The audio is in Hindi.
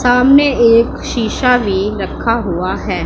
सामने एक शीशा भी रखा हुआ है।